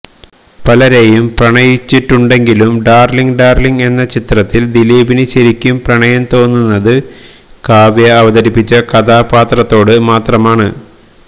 പലരെയും പ്രണയിച്ചിട്ടുണ്ടെങ്കിലും Darling Darling എന്ന ചിത്രത്തില് ദിലീപിന് ശരിക്കും പ്രണയം തോന്നുന്നത് കാവ്യ അവതരിപ്പിച്ച കഥാപാത്രത്തോട് മാത്രമാണ്